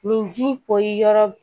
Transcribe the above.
Nin ji in poyi yɔrɔ